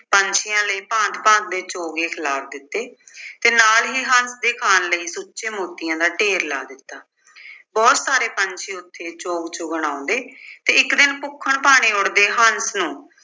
ਪੰਛੀਆਂ ਲਈ ਭਾਂਤ-ਭਾਂਤ ਦੇ ਚੋਗੇ ਖਿਲਾਰ ਦਿੱਤੇ ਤੇ ਨਾਲ ਹੀ ਹੰਸ ਦੇ ਖਾਣ ਲਈ ਸੁੱਚੇ ਮੋਤੀਆਂ ਦਾ ਢੇਰ ਲਾ ਦਿੱਤਾ। ਬਹੁਤ ਸਾਰੇ ਪੰਛੀ ਉੱਥੇ ਚੋਗ ਚੁੱਗਣ ਆਉਂਦੇ ਤੇ ਇੱਕ ਦਿਨ ਭੁੱਖਣ-ਭਾਣੇ ਉੱਡਦੇ ਹੰਸ ਨੂੰ